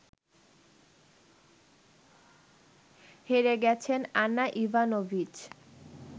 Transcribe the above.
হেরে গেছেন Ana Ivanovic